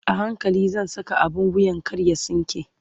a hankali zan Saka abun wuyan kar ya tsinke